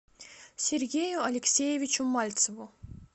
сергею алексеевичу мальцеву